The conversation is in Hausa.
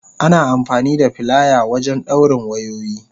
Ana amfani da filaya wajen dawrin wayoyi.